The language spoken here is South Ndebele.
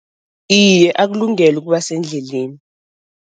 Iye, akulungele ukuba sendleleni.